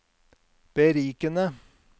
berikende